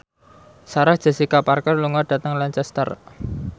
Sarah Jessica Parker lunga dhateng Lancaster